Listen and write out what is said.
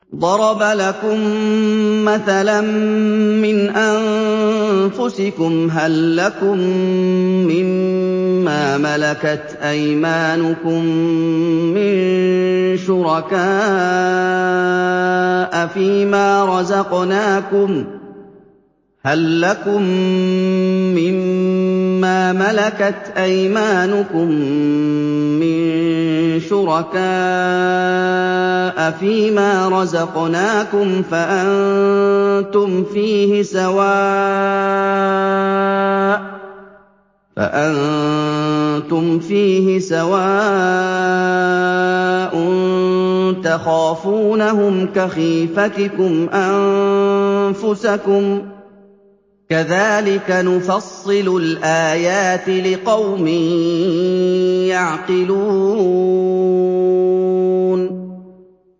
ضَرَبَ لَكُم مَّثَلًا مِّنْ أَنفُسِكُمْ ۖ هَل لَّكُم مِّن مَّا مَلَكَتْ أَيْمَانُكُم مِّن شُرَكَاءَ فِي مَا رَزَقْنَاكُمْ فَأَنتُمْ فِيهِ سَوَاءٌ تَخَافُونَهُمْ كَخِيفَتِكُمْ أَنفُسَكُمْ ۚ كَذَٰلِكَ نُفَصِّلُ الْآيَاتِ لِقَوْمٍ يَعْقِلُونَ